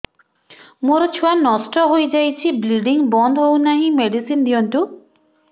ମୋର ଛୁଆ ନଷ୍ଟ ହୋଇଯାଇଛି ବ୍ଲିଡ଼ିଙ୍ଗ ବନ୍ଦ ହଉନାହିଁ ମେଡିସିନ ଦିଅନ୍ତୁ